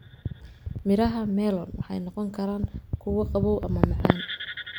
Midhaha melon waxay noqon karaan kuwa qabow ama macaan.